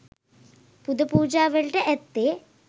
පුද පූජා වලට ඇත්තේ